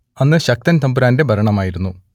അന്ന് ശക്തൻ തമ്പുരാന്റെ ഭരണമായിരുന്നു